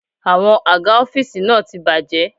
Àwọn àga ọ́fíìsì náà ti bàjé.